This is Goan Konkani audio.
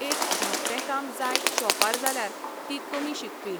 एक धाकटें काम जाय शोपार जाल्यार ती कमी शिकपी.